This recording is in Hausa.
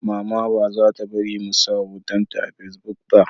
Mama ba za ta bari mu sa hoton ta a fasibuk ba